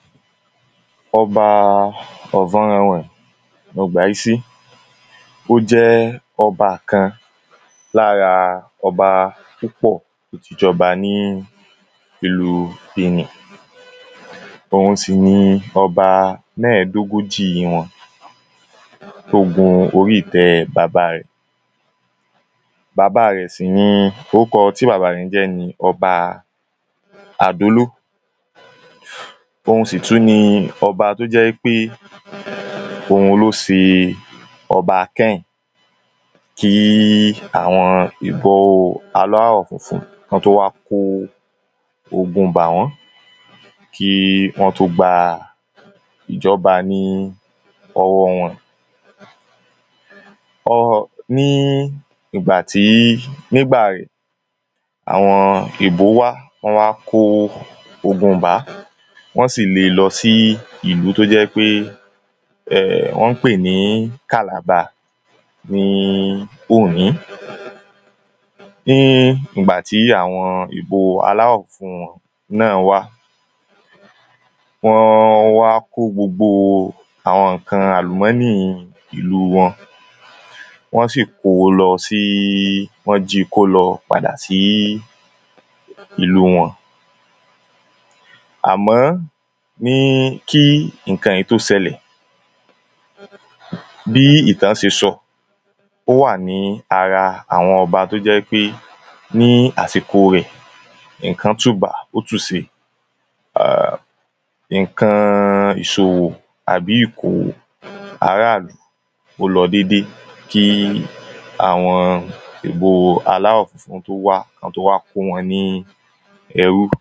ọba ọvọ́nrẹnwẹ̀n ọgbàísí ó jẹ́ ọba kan lára ọba púpọ̀ tóti jọba ní ìlu bìnì òun sì ni ọba mẹ́ẹ̀dógójì wọn tó gun orí ìtẹ́ baba rẹ̀ orúkọ tí baba rẹ̀ ń jẹ́ ní ọba àdóló òun sì tú ni ọba tó jẹ́ pé òun ló se ọba kẹ́hìn kíí àwọn ìfọ̀ oo aláwọ̀ funfun kọ́ tó wá kó ogun bà wọ́n kí wọ́n tó gba ìjọba ní ọwọ́ wọn ní ìgbà tí nígbà àwọn èèbó wá wọ́n wá kó ogun bá wọ́n sì le lọ sí ìlú tó jẹ́ pé ọ́ ń pè ní kàlàba ní oòní ní ìgbà tì ìbò aláwọ̀ funfun wọn náà wà wọ́n wá kó gbogbo àwọn ǹkan àlùmọ́nì ìlú wọn wọ́n ko lọ sí wọ́n ji kó lọ padà sí ìlú wọn à mọ́ kí iǹkan yí tó sẹlẹ̀ bí ìtán ṣe sọ ó wà ní ara àwọn ọba tó jẹ́ wípé ní àsìko rẹ̀ iǹkan tùbà ó tù se iǹkan ̀iṣòwò àbí ìkòwò aráàlú ó lọ dédé kí àwọn èèbóo aláwọ̀ funfun tó wá kán tó wá kó wọn ní ẹrú